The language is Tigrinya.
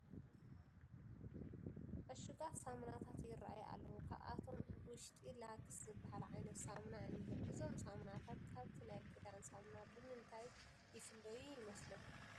ዕሹጋት ሳሙናታት ይርአዩ ኣለዉ፡፡ ካብኣቶም ውሽጢ ላክስ ዝበሃል ዓይነት ሳሙና እኒሀ፡፡ እዞም ሳሙናታት ካብቲ ናይ ክዳን ሳሙና ብምንታይ ፍይለዩ ይመስለኩም?